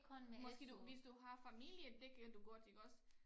Måske du hvis du har familie det kan du godt iggås